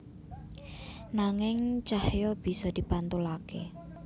Nanging cahya bisa dipantulaké